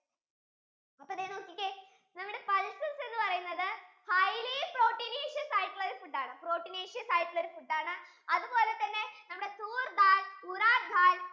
അപ്പൊ ദേ നോക്കിക്കേ നമ്മുടെ pulses എന്ന് പറയുന്നത് highly proteinaceous ആയിട്ടുള്ള ഒരു food ആണ് proteinaceous ആയിട്ടുള്ള food ആണ് അതുപോലെ തന്നെ നമ്മുടെ choor dal, gulab ghatt